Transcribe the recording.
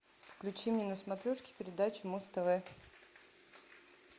включи мне на смотрешке передачу муз тв